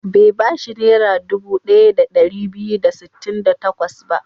Bai ba shi Naira dubu ɗaya da ɗari biyu da sittin da takwas ba.